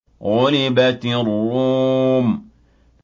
غُلِبَتِ الرُّومُ